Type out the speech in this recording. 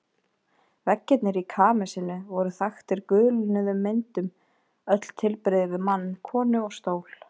Veggirnir í kamesinu voru þaktir gulnuðum myndum, öll tilbrigði við mann, konu og stól.